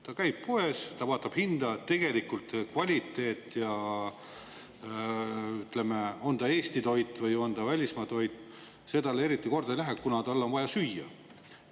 Ta käib poes, ta vaatab hinda, tegelikult kvaliteet ja, ütleme, on ta Eesti toit või on ta välismaa toit, see talle eriti korda ei lähe, kuna tal on vaja süüa.